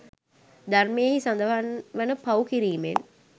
ධර්මයෙහි සඳහන් වන පව් කිරිමෙන්